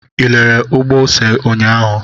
Ị lelere ugbo ose ụnyahụ?